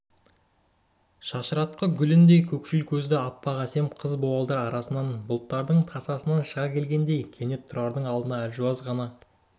шашыратқы гүліндей көкшіл көзді аппақ әсем қыз буалдыр арасынан бұлттардың тасасынан шыға келгендей кенет тұрардың алдына әлжуаз ғана